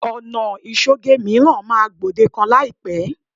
Ọ̀nà ìṣoge mìíràn máa gbòdekan láìpẹ́